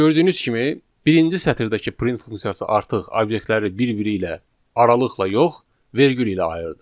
Gördüyünüz kimi birinci sətirdəki print funksiyası artıq obyektləri bir-biri ilə aralıqla yox, vergül ilə ayırdı.